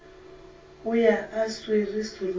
o ya a swere serumula